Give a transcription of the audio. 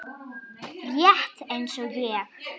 Rétt eins og ég.